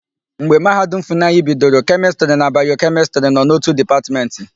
Mgbe Mahadum Funayịbidoro, Kemịstịrị na Bayokemịstịrị nọ n'ótù Dịpatmentị.